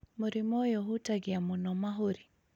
Mũrimũ ũyũ ũhutagia mũno mahũri,